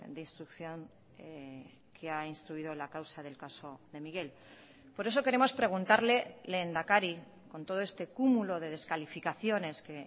de instrucción que ha instruido la causa del caso de miguel por eso queremos preguntarle lehendakari con todo este cúmulo de descalificaciones que